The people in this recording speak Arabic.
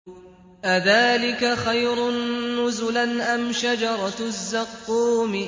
أَذَٰلِكَ خَيْرٌ نُّزُلًا أَمْ شَجَرَةُ الزَّقُّومِ